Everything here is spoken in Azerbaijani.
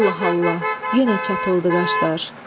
Allah Allah, yenə çatıldı qaşlar.